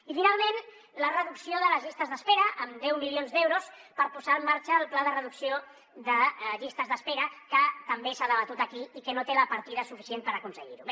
i finalment la reducció de les llistes d’espera amb deu milions d’euros per posar en marxa el pla de reducció de llistes d’espera que també s’ha debatut aquí i que no té la partida suficient per aconseguir ho